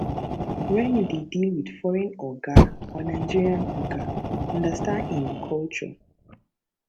when you dey deal with foreign oga or nigerian oga understand im culture